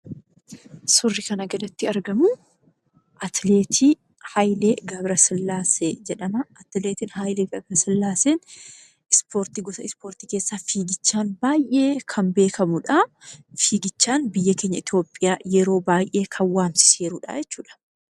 Suurri kana gaditti argamu atileetii Hayilee Gabrasillaasee jedhamaa. Atileetiin Hayilee Gabrasillaaseen gosa ispoortii keessaa fiigichaan baay'ee kan beekamudhaa. Fiigichaan biyya keenya Itopphiyaa kan waamsisedha jechuudha.